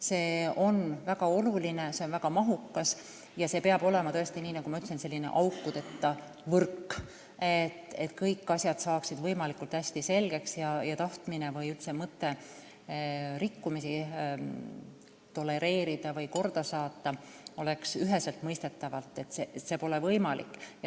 See on väga oluline, see on väga mahukas ja peab olema, nagu ütlesin, selline aukudeta võrk, et kõik asjad saaksid võimalikult hästi selgeks ning oleks üheselt mõistetav: tahtmine või isegi mõte rikkumisi tolereerida või korda saata pole mõeldav.